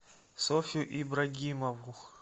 софью ибрагимову